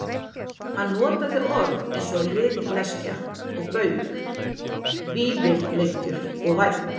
Hann notaði orð eins og liðleskja og bauk, vífilengjur og vænn.